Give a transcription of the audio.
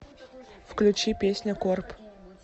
включи песня корп